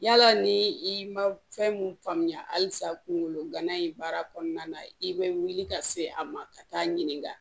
Yala ni i ma fɛn mun faamuya halisa kungolo gana in baara kɔnɔna na i be wuli ka se a ma ka taa ɲininka